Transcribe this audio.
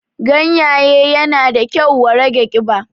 Ganyaye yana da kyau wa rage ƙiba